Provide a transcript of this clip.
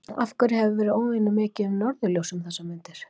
Af hverju hefur verið óvenju mikið um norðurljós um þessar mundir?